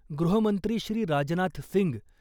गृहमंत्री श्री . राजनाथ सिंग ,